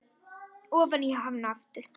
Og ofan í hana aftur.